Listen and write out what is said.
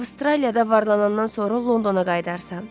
Avstraliyada varlanandan sonra Londona qayıdarsan.